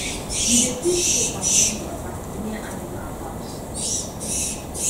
we dey keep soap and warm water near animal house